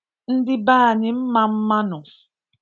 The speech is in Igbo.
Ndị be anyị mma mma nụ